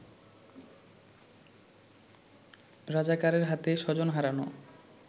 রাজাকারের হাতে স্বজন হারানো